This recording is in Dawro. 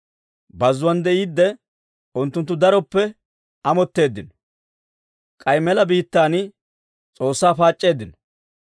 Bazzuwaan de'iiddi, unttunttu daroppe amotteeddino; k'ay mela biittaan S'oossaa paac'c'eeddino.